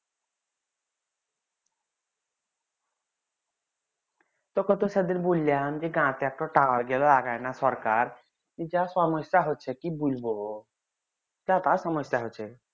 তো সরকার যা সমস্যা হচ্ছে কি বলবো কা সমস্যা হচ্ছে